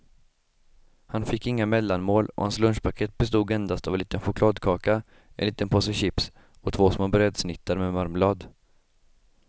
Han fick inga mellanmål och hans lunchpaket bestod endast av en liten chokladkaka, en liten påse chips och två små brödsnittar med marmelad.